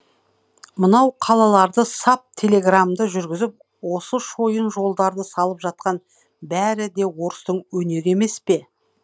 мынау қалаларды сап телеграмды жүргізіп осы шойын жолдарды салып жатқан бәрі де орыстың өнері емес пе